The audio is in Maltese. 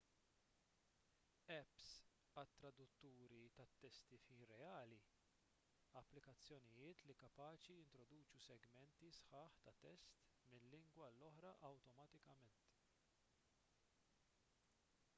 apps għat-tradutturi tat-testi f'ħin reali applikazzjonijiet li kapaċi jittraduċu segmenti sħaħ ta' test minn lingwa għal oħra awtomatikament